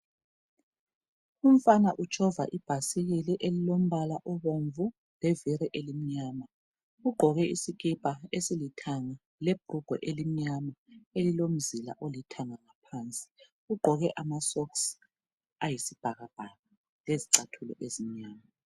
Umfana utshova ibhasikili elilombala obomvu leviri elimnyama. Ugqoke isikipa esilithanga lebhrugwe elimnyama elilomzila olithanga ngaphansi. Ugqoke ama socks ayisibhakabhaka lezicathulo ezimnyama.